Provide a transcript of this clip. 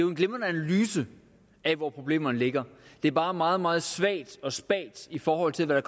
en glimrende analyse af hvor problemerne ligger det er bare meget meget svagt og spagt i forhold til hvad